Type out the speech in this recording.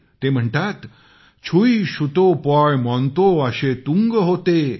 ते म्हणतातछुई शुतो पॉयमॉन्तो आशे तुंग होते ।